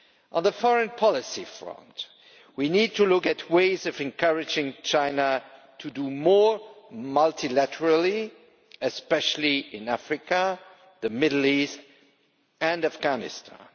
On the foreign policy front, we need to look at ways of encouraging China to do more multilaterally, especially in Africa, the Middle East and Afghanistan.